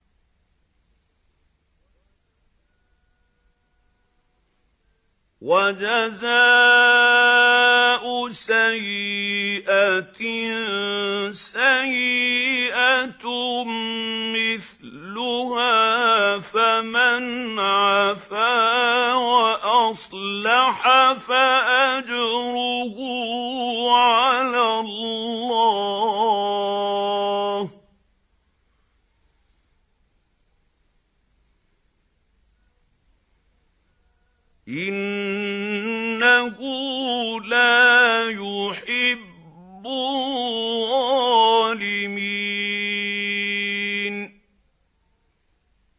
وَجَزَاءُ سَيِّئَةٍ سَيِّئَةٌ مِّثْلُهَا ۖ فَمَنْ عَفَا وَأَصْلَحَ فَأَجْرُهُ عَلَى اللَّهِ ۚ إِنَّهُ لَا يُحِبُّ الظَّالِمِينَ